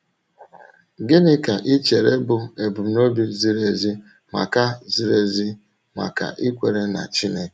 Gịnị ka ị chèrè bụ́ ebumnòbi zìrì ezi maka zìrì ezi maka ikwèrè n’Chínèké?